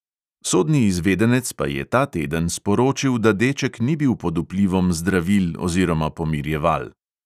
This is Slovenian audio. Sodni izvedenec pa je ta teden sporočil, da deček ni bil pod vplivom zdravil oziroma pomirjeval.